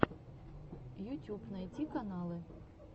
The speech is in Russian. ютюб найти каналы